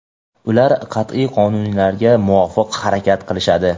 ular qat’iy qonunlarga muvofiq harakat qilishadi.